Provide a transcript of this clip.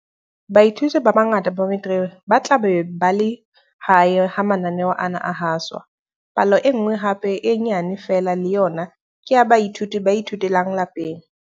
Baithuti ba bangata ba Metiriki ba tla be ba le hae ha mananeo ana a haswa. Palo e nngwe hape e nyane feela le yona ke ya baithuti ba ithutelang lapeng.